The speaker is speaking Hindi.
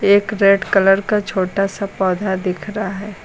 एक रेड कलर का छोटा सा पौधा दिख रहा है।